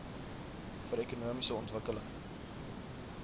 vir ekonomiese ontwikkeling